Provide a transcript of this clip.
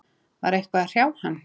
Var eitthvað að hrjá hann?